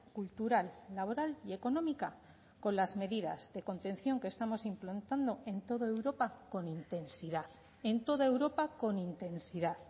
cultural laboral y económica con las medidas de contención que estamos implantando en toda europa con intensidad en toda europa con intensidad